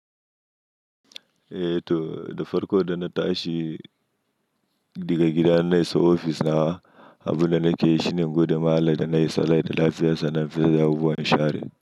Eh to, da farko da na tashi daga gida na iso ofis na, abu na nake yi shine gode ma Allah na yi salat da lafiya sannan fita yawo a inshari.